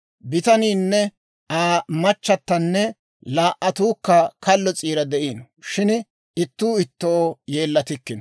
Bitaniinne Aa machatanne laa"attukka kallo s'iira de'ino; shin ittuu ittoo yeellattikkino.